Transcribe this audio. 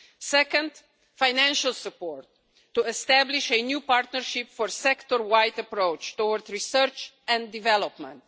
Second, financial support to establish a new partnership for a sector wide approach towards research and development.